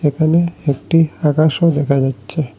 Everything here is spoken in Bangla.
এখানে একটি আকাশও দেখা যাচ্চে।